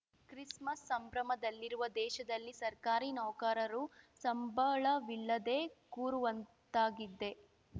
Christmas ಸಂಭ್ರಮದಲ್ಲಿರುವ ದೇಶದಲ್ಲಿ ಸರ್ಕಾರಿ ನೌಕರರು ಸಂಬಳವಿಲ್ಲದೇ ಕೂರುವಂತಾಗಿದೆ